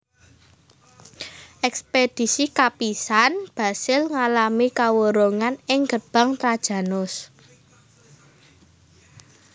Ekspedisi kapisan Basil ngalami kawurungan ing Gerbang Trajanus